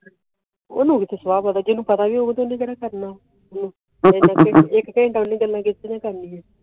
ਉਹਨੂੰ ਸੋਵਾ ਪਤਾ ਹੈ ਜਿੰਨੂ ਪਤਾ ਹੈ ਉਣ ਕੇਰਾ ਕਰਨਾ